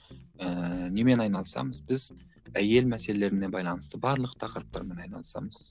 ііі немен айналысамыз біз әйел мәселелеріне байланысты барлық тақырыптармен айналысамыз